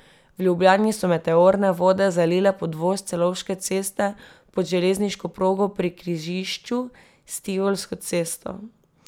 V Ljubljani so meteorne vode zalile podvoz Celovške ceste pod železniško progo pri križišču s Tivolsko cesto.